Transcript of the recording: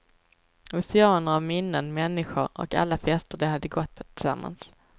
Oceaner av minnen, människor och alla fester de hade gått på tillsammans.